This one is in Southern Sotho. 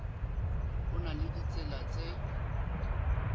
ho na le ditsela tse